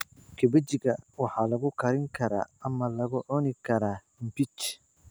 Kabejiga waxaa lagu karin karaa ama lagu cuni karaa mbich.